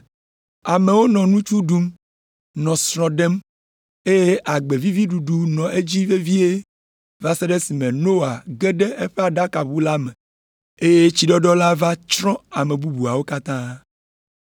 Amewo nɔ nutsu ɖum, nɔ srɔ̃ ɖem, eye agbe vivi ɖuɖu nɔ edzi vevie va se ɖe esime Noa ge ɖe eƒe aɖakaʋu la me, eye tsiɖɔɖɔ va tsrɔ̃ ame bubuawo katã.